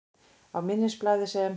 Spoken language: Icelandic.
Á minnisblaði, sem